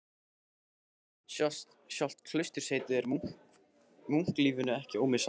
Sjálft klausturheitið er munklífinu ekki ómissandi.